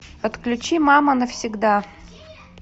подключи мама навсегда